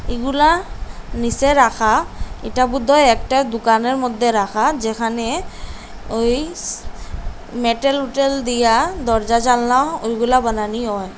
এগুলা নীসে রাখা এটা বুধহয় একটা দুকানের মধ্যে রাখা যেখানে ওই মেটেল উটেল দিয়া দরজা জানলা ওইগুলা বানানি হয়।